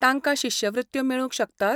तांकां शिश्यवृत्त्यो मेळूंक शकतात?